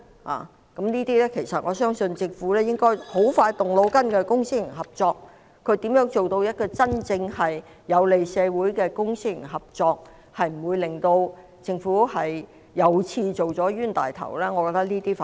就公私營合作方面，我相信政府很快便會動腦筋，思考如何做到真正有利社會的公私營合作，不會令政府又做了冤大頭，我覺得這些我們反而要密切留意。